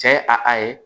Cɛ ye a a ye